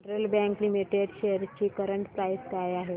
federal Bank Limited shares ची current price काय आहे